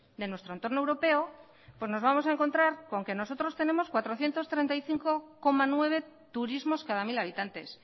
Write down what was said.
de nuestro entorno europeo pues nos vamos a encontrar con que nosotros tenemos cuatrocientos treinta y cinco coma nueve turismos cada mil habitantes